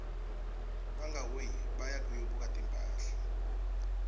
bangaui baya kuyobuka timphahla